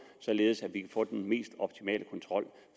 således at vi kan få den mest optimale kontrol